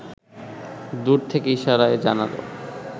দূর থেকে ইশারায় জানাল